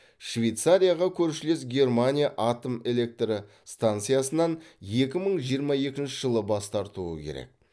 швейцарияға көршілес германия атом электростанциясынан екі мың жиырма екінші жылы бас тартуы керек